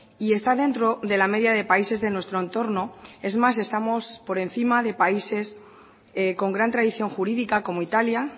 y está dentro de la media de países de nuestro entorno es más estamos por encima de países con gran tradición jurídica como italia